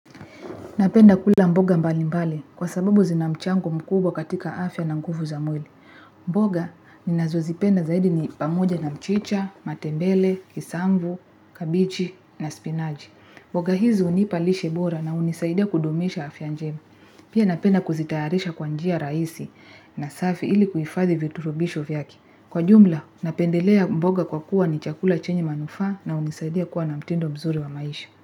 Napenda kula mboga mbali mbali kwa sababu zina mchango mkubwa katika afya na nguvu za mwili. Mboga ninazozipenda zaidi ni pamoja na mchicha, matembele, kisambu, kabichi na spinachi. Mboga hizi hunipa lishebora na hunisaidia kudumisha afya njema. Pia napenda kuzitayarisha kwa njia raisi na safi ili kuhifadhi viturubisho vyake. Kwa jumla, napendelea mboga kwa kuwa ni chakula chenye manufaa na hunisaidia kuwa na mtindo mzuri wa maisha.